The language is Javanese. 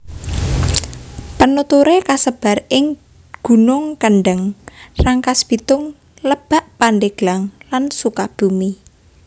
Penuturé kasebar ing gunung Kendeng Rangkasbitung Lebak Pandeglang lan Sukabumi